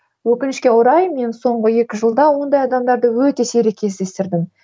өкінішке орай мен соңғы екі жылда ондай адамдарды өте сирек кездестірдім